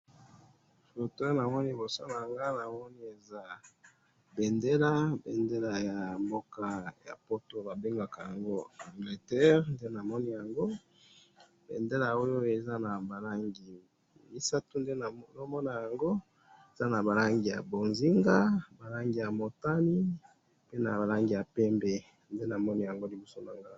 foto namoni iboso nanga awa namoni eza bendela bendela ya mboka ya poto ba bengaka yango Angleterre nde nazomona yango bendela oyo eza naba langi misatu nazo mona yango eza naba langi ya mbonzinga naba langi ya motani pe naba langi ya pembe nde namoni na liboso nangayi awa